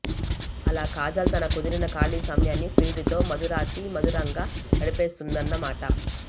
అలా కాజల్ తన కుదిరిన ఖాళీ సమయాన్ని ప్రియుడితో మధురాతి మధురంగా గడిపేస్తోందన్న మాట